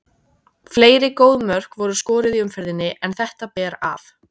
Fleiri góð mörk voru skoruð í umferðinni en þetta ber af.